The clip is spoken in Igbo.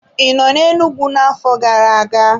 I nọ n'Enugwu na-afọ gara-aga?